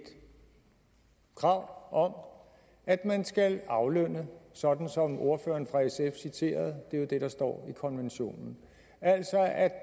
krav om at man skal aflønne sådan som ordføreren fra sf citerede det er jo det der står i konventionen at